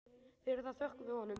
Fyrir það þökkum við honum.